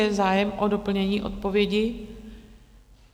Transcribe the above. Je zájem o doplnění odpovědi?